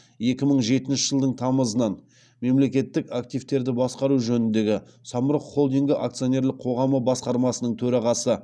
екі мың жетінші жылдың тамызынан мемлекеттік активтерді басқару жөніндегі самұрық холдингі акционерлік қоғамы басқармасының төрағасы